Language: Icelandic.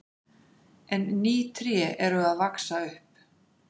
En ný tré eru að vaxa upp.